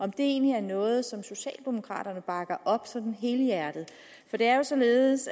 det egentlig noget som socialdemokraterne bakker op sådan helhjertet for det er jo således